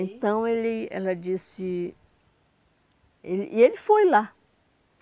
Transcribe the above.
Então, ele ela disse... E ele e ele foi lá.